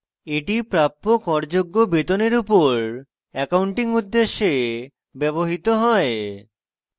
এটি প্রাপ্য কর যোগ্য বেতনের উপর অ্যাকাউন্টিং উদ্দেশ্যে ব্যবহৃত হয়